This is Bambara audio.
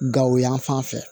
Gawo yan fan fɛ